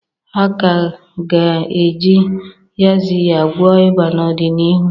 A ka ga-eji yaxiya gwọọ ịba n'ọdịniihu.